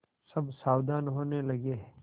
सब सावधान होने लगे